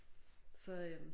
Så øh